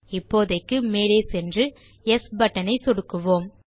இப்போதைக்கு மேலே சென்று யெஸ் பட்டன் ஐ சொடுக்கலாம்